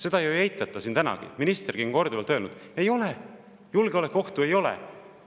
Seda ju ei eitata siin tänagi, isegi minister on korduvalt öelnud: julgeolekuohtu ei ole.